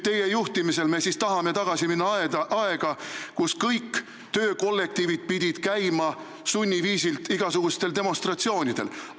Teie juhtimisel me aga tahame tagasi minna aega, kus kõik töökollektiivid pidid käima sunniviisil igasugustel demonstratsioonidel.